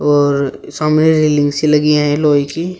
और सामने रेलिंग सी लगी है लोहे की।